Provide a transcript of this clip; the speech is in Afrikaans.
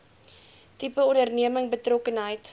tipe onderneming betrokkenheid